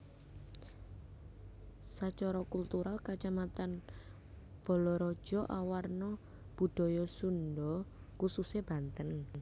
Sacara kultural Kacamatan Balaraja awarna budaya Sunda khususé Banten